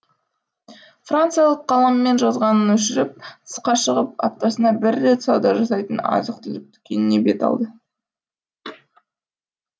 франциялық қаламмен жазғанын өшіріп тысқа шығып аптасына бір рет сауда жасайтын азық түлік дүкеніне бет алды